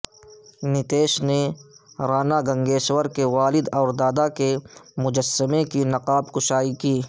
نتیش نے راناگنگیشور کے والد اور دادا کے مجسمہ کی نقاب کشائی کی